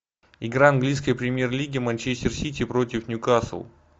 игра английской премьер лиги манчестер сити против ньюкасл